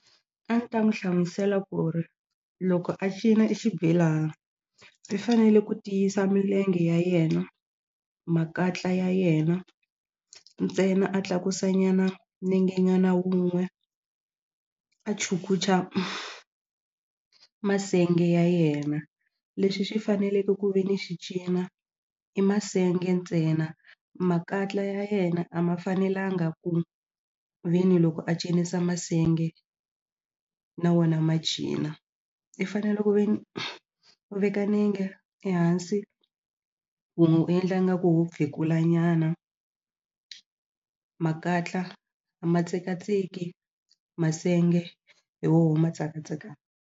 A ni ta n'wi hlamusela ku ri loko a cina e xibelana i fanele ku tiyisa milenge ya yena makatla ya yena ntsena a tlakusa nyana nenge nyana wun'we a chukucha masenge ya yena leswi swi faneleke ku ve ni xi cina i masenge ntsena makatla ya yena a ma fanelanga ku ve ni loko a cinisa masenge na wona ma cina i fanele ku ve ni u veka nenge ehansi wun'we u endla nga ku wo phekula nyana makatla a ma tsekatseki masenge hi woho ma .